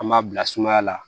An m'a bila sumaya la